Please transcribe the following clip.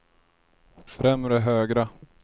främre högra